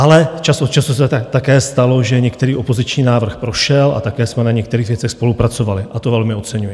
Ale čas od času se také stalo, že některý opoziční návrh prošel, a také jsme na některých věcech spolupracovali a to velmi oceňuji.